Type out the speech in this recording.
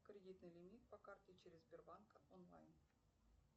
кредитный лимит по карте через сбербанк онлайн